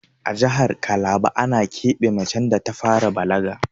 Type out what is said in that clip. A jahar kalaba ana keɓe macen da ta fara balaga